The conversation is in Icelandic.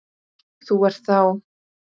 Þú ert þá?